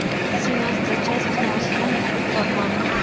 семнадцатая часть восьмого сезона искусство обмана